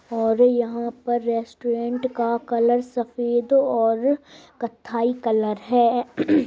और यहां पर रेस्टोरेंट का कलर सफेद और कत्थई कलर है।